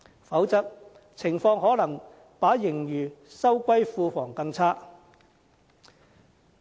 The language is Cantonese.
否則，情況可能會較把盈餘收歸庫房更差。